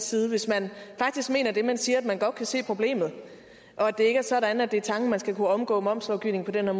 side hvis man faktisk mener det man siger altså at man godt kan se problemet og det ikke er sådan at det er tanken at nogen skal kunne omgå momslovgivningen på den her